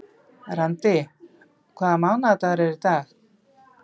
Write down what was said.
Randý, hvaða mánaðardagur er í dag?